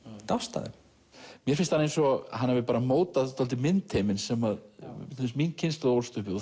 dást að þeim mér finnst eins og hann hafi mótað dálítið myndheiminn sem til dæmis mín kynslóð ólst upp við og